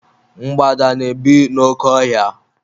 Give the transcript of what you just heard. Mgbada na-ebi n'oke ọ hia.